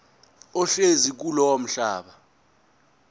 ohlezi kulowo mhlaba